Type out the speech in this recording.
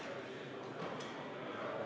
Marko Pomerants, palun!